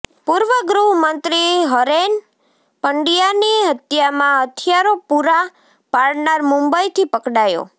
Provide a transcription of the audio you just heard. પૂર્વ ગૃહમંત્રી હરેન પંડ્યાની હત્યામાં હથિયારો પૂરાં પાડનાર મુંબઈથી પકડાયો